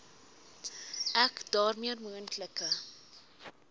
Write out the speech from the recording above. ek daarmee moontlike